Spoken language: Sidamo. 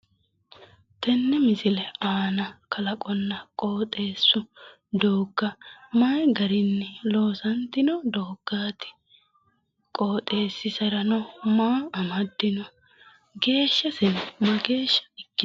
Yenne misile aana kalqonna doogga mayi garinni loosantino dooggaati? Qooxeessiserano maa amaddino? Geeshshaseno mageeshsha ikkitanno?